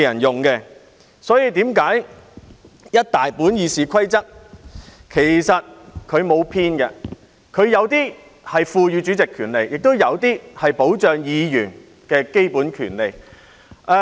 因此，整套《議事規則》其實沒有偏頗，有些條文賦予主席權利，亦有些條文保障議員的基本權利。